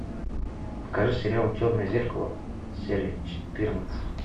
покажи сериал черное зеркало серия четырнадцать